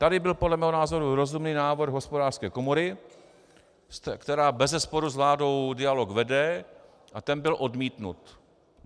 Tady byl podle mého názoru rozumný návrh Hospodářské komory, která bezesporu s vládou dialog vede, a ten byl odmítnut.